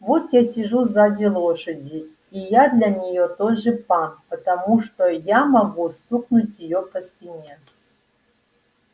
вот я сижу сзади лошади и я для неё тоже пан потому что я могу стукнуть её по спине